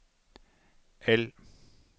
L